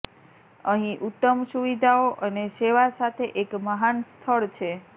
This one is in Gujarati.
અહીં ઉત્તમ સુવિધાઓ અને સેવા સાથે એક મહાન સ્થળ છે